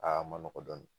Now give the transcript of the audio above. Aa ma nɔgɔn dɔɔnin